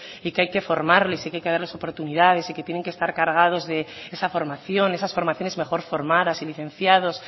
y que hay que formarles y que hay que darles oportunidades y que tienen que estar cargados de esa formación esas formaciones mejor formadas y licenciados